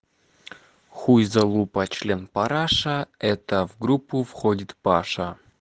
хуй залупа член параша это в группу входит паша